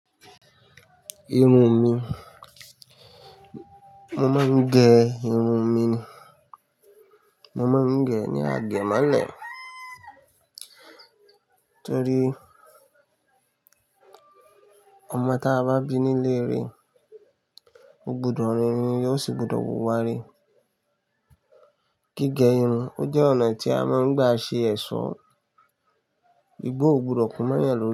Irun mi, mo máa ń gẹ irun mi ni. Mo máa ń gẹ ní àgẹ̀mọ́lẹ̀ torí ọmọ tí a bá bí nílée re, ó gbúdọ̀ rínrin ire ò sì gbodọ̀ wùwà ire. Gígẹ irun jẹ́ ọ̀nà tí a máa ń gba ṣe ẹ̀ṣọ́, igbó ò gbọdọ̀ kún mọ́yan lọ́ri.